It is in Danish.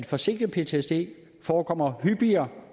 forsinket ptsd forekommer hyppigere